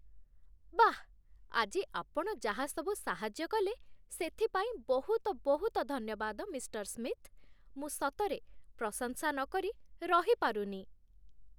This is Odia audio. ବାଃ, ଆଜି ଆପଣ ଯାହା ସବୁ ସାହାଯ୍ୟ କଲେ, ସେଥିପାଇଁ ବହୁତ ବହୁତ ଧନ୍ୟବାଦ, ମିଷ୍ଟର ସ୍ମିଥ୍ । ମୁଁ ସତରେ ପ୍ରଶଂସା ନକରି ରହିପାରୁନି!